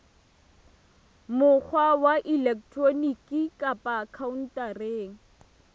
mokgwa wa elektroniki kapa khaontareng